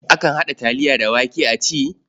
Akan haɗa taliya da wake a ci.